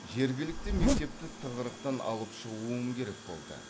жергілікті мектепті тығырақтан алып шығуым керек болды